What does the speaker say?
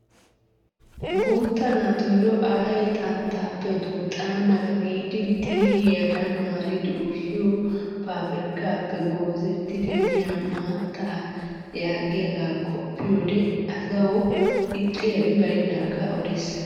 Guutta naatuyoo ayee xanttappe duuxxana mala giidi xiilliyaadan maaridi ushiyoo pabirkkaappe goozettidi yiyaa maattaa yaagiyaaga qoppiyoode asawu ixxiyaabi baynnaagaa odes!